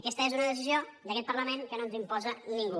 aquesta és una decisió d’aquest parlament que no ens imposa ningú